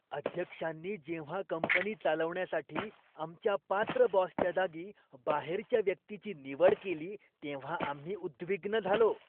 अध्यक्षांनी जेव्हा कंपनी चालवण्यासाठी आमच्या पात्र बॉसच्या जागी बाहेरच्या व्यक्तीची निवड केली तेव्हा आम्ही उद्विग्न झालो.